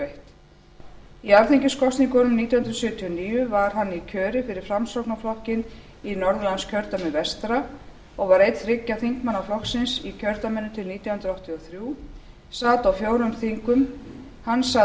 eitt í alþingiskosningunum nítján hundruð sjötíu og níu var hann í kjöri fyrir framsóknarflokkinn í norðurlandskjördæmi vestra og var einn þriggja þingmanna flokksins í kjördæminu til nítján hundruð áttatíu og þrjú sat á fjórum þingum hann sat